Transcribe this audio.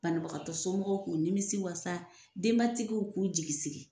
Banbagatɔ somɔgɔw k'u nimiwasa, denbatigiw k'u jigi sigi.